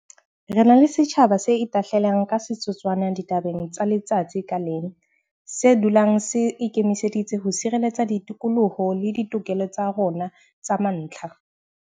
Re na le setjhaba se itahlelang ka setotswana ditabeng tsa letsatsi ka leng, se dulang se ikemiseditse ho sireletsa ditokoloho le ditokelo tsa rona tsa mantlha.